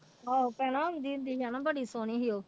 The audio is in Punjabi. ਆਹੋ ਪਹਿਲਾਂ ਆਉਂਦੀ ਹੁੰਦੀ ਸੀ ਹਨਾ ਬੜੀ ਸੋਹਣੀ ਸੀ ਉਹ।